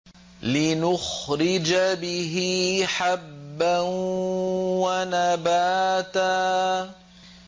لِّنُخْرِجَ بِهِ حَبًّا وَنَبَاتًا